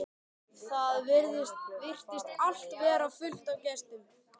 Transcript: Það virtist allt vera fullt af gestum.